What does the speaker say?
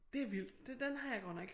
Det vildt den har jeg godt nok